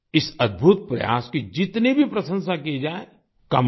इस अद्भुत प्रयास की जितनी भी प्रशंसा की जाए कम है